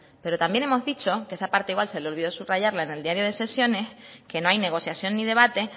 pero también hemos dicho que esa parte igual se le olvidó subrayarla en el diario de sesiones que no hay negociación ni debate